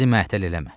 Bizi məəttəl eləmə.